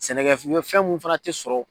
Sɛnɛkɛ fɛn munnu fana tɛ sɔrɔ.